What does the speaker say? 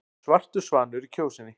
Svartur svanur í Kjósinni